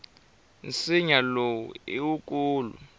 nsinya lowu i wukulu